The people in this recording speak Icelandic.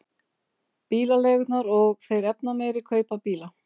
Bílaleigurnar og þeir efnameiri kaupa bíla